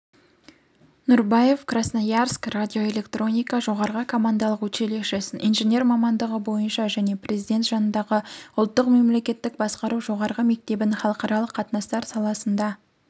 нұрбаев красноярск радиоэлектроника жоғарғы командалық училищесін инженер мамандығы бойынша және президенті жанындағы ұлттық мемлекеттік басқару жоғарғы мектебін халықаралық қатынастар саласында